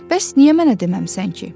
Bəs niyə mənə deməmisən ki?